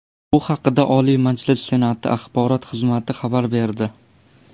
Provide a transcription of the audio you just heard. Bu haqda Oliy Majlis Senati axborot xizmati xabar berdi .